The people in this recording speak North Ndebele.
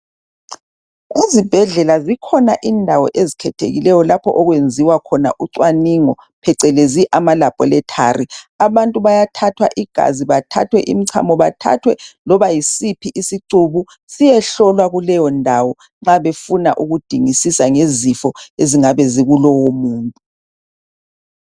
Ezibhedlela zikhona indawo ezikhethekile okwenziwa khona ucaningo phecelezi ama leboratary abantu bayathathwa igazi bathathwe imichamo bathathwe loba yisiphi isicubu siyehlolwa kuleyo ndawo ma befuna ukudingisisa ngezifo ezingabe zikulowo muntu